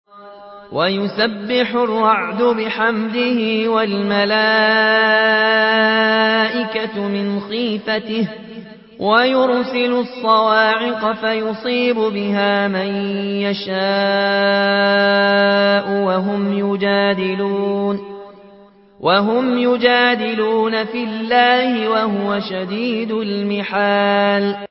وَيُسَبِّحُ الرَّعْدُ بِحَمْدِهِ وَالْمَلَائِكَةُ مِنْ خِيفَتِهِ وَيُرْسِلُ الصَّوَاعِقَ فَيُصِيبُ بِهَا مَن يَشَاءُ وَهُمْ يُجَادِلُونَ فِي اللَّهِ وَهُوَ شَدِيدُ الْمِحَالِ